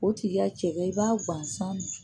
O tigi ka cɛkɛ i b'a gansan